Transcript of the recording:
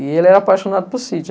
E ele era apaixonado por sítio.